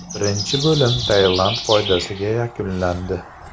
Birinchi bo‘lim Tailand foydasiga yakunlandi.